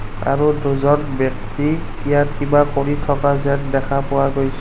আৰু দুজন ব্যক্তি ইয়াত কিবা কৰি থকা যেন দেখা পোৱা গৈছ--